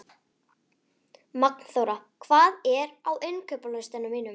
Magnþóra, hvað er á innkaupalistanum mínum?